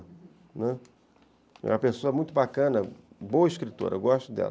Né, é uma pessoa muito bacana, boa escritora, eu gosto dela.